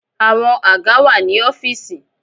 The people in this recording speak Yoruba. Àwọn àga wà ní ọ́fìsì.